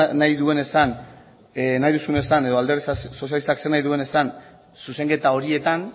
nahi duen esan nahi duzun esan edo alderdi sozialistak zer nahi duen esan zuzenketa horietan